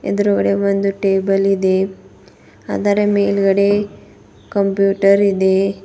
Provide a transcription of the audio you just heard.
ಎದುರುಗಡೆ ಒಂದು ಟೇಬಲ್ ಇದೆ ಅದರ ಮೇಲ್ಗಡೆ ಕಂಪ್ಯೂಟರ್ ಇದೆ.